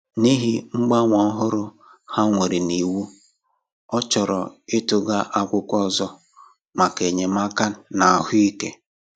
N’ihi mgbanwe òhùrù ha mere n’iwu, ọ chọ̀rò ịtụghà akwụkwọ ọzọ maka enyémàkà n’ahụ́ ike.